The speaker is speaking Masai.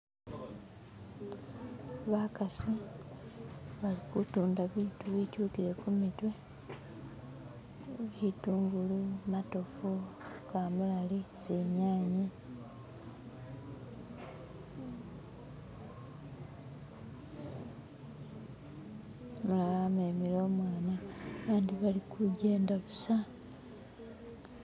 Bakasi balikutunda ibintu bitikile kumitwe , bitungulu, gamatofu, kamulali, zinyanya . Umulala amemele umwana bandi bali kujjenda busa.